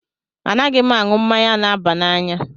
Anaghị m aṅụ mmanya na-aba n'anya